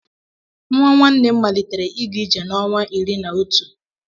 Nnwa nwanne m malitere ịga ije n'ọnwa iri na otu